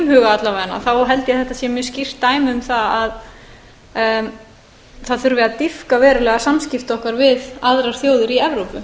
huga alla vega held ég að þetta sé mjög skýrt dæmi um það að það þurfi að dýpka verulega samskipti okkar við aðrar þjóðir í evrópu